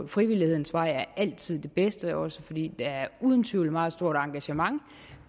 frivillighedens vej altid er den bedste også fordi der uden tvivl meget stort engagement